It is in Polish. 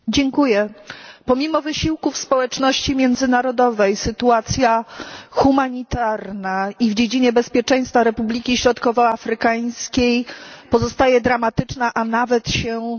Pomimo wysiłków społeczności międzynarodowej sytuacja humanitarna i w dziedzinie bezpieczeństwa Republiki Środkowoafrykańskiej pozostaje dramatyczna, a nawet się pogarsza.